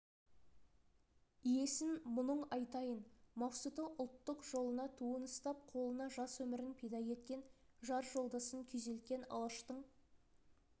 иесін мұның айтайын мақсұты ұлттық жолына туын ұстап қолына жас өмірін пида еткен жар-жолдасын күйзелткен алаштың